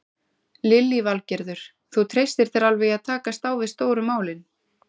Lillý Valgerður: Þú treystir þér alveg í að takast á við stóru málin?